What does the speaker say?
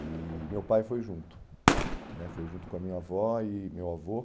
E meu pai foi junto né, foi junto com a minha avó e meu avô.